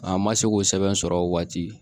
An ma se k'o sɛbɛn sɔrɔ o waati